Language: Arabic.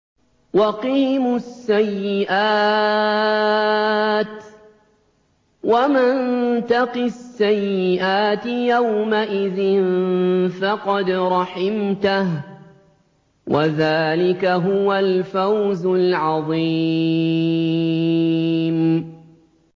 وَقِهِمُ السَّيِّئَاتِ ۚ وَمَن تَقِ السَّيِّئَاتِ يَوْمَئِذٍ فَقَدْ رَحِمْتَهُ ۚ وَذَٰلِكَ هُوَ الْفَوْزُ الْعَظِيمُ